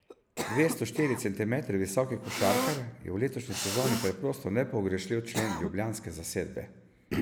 Dvesto štiri centimetre visoki košarkar je v letošnji sezoni preprosto nepogrešljiv člen ljubljanske zasedbe.